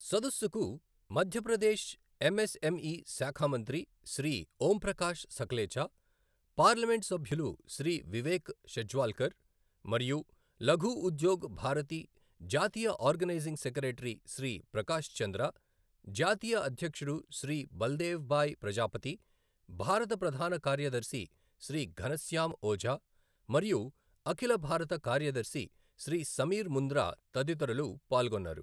సదస్సుకు మధ్యప్రదేశ్ ఎంఎస్ఎంఈ శాఖ మంత్రి శ్రీ ఓంప్రకాష్ సఖలేచా, పార్లమెంట్ సభ్యులు శ్రీ వివేక్ షెజ్వాల్కర్ మరియు లఘు ఉద్యోగ్ భారతి జాతీయ ఆర్గనైజింగ్ సెక్రటరీ శ్రీ ప్రకాష్ చంద్ర, జాతీయ అధ్యక్షుడు శ్రీ బల్దేవ్భాయ్ ప్రజాపతి, భారత ప్రధాన కార్యదర్శి శ్రీ ఘనశ్యామ్ ఓజా మరియు అఖిల భారత కార్యదర్శి శ్రీ సమీర్ ముంద్రా తదితరులు పాల్గొన్నారు.